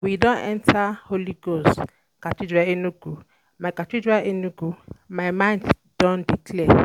We don um enta Holy um Ghost um Cathedral Enugu, my Cathedral Enugu, my mind do dey clear.